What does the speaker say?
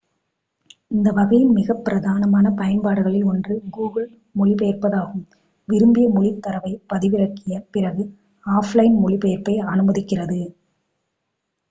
இந்த வகையின் மிக பிரதானமான பயன்பாடுகளில் ஒன்று google மொழிபெயர்ப்பாகும் விரும்பிய மொழித் தரவைப் பதிவிறக்கிய பிறகு ஆஃப்லைன் மொழிபெயர்ப்பை அனுமதிக்கிறது